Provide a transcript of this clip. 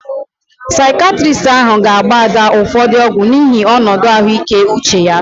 Saikiatristi ahụ ga agba Ada ụfọdụ ọgwu n'ihi onodu ahuike uche ya